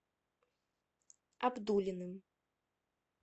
абдуллиным